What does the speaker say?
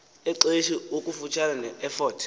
exesi kufutshane nefort